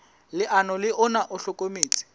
leano le ona o hlokometse